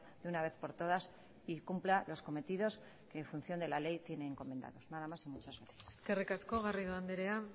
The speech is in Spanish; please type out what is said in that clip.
de una vez por todas y cumpla los cometidos en función de la ley tiene encomendados nada más y muchas gracias eskerrik asko garrido andrea